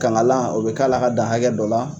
Kankalan, o bɛ k'a la ka dan hakɛ dɔ la.